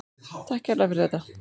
Takk kærlega fyrir þetta.